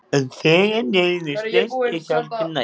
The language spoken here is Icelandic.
En þegar neyðin er stærst er hjálpin næst.